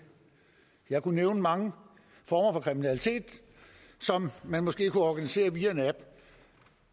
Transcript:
jeg kunne nævne mange former for kriminalitet som man måske kunne organisere via en app